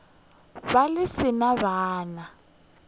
be le se na bana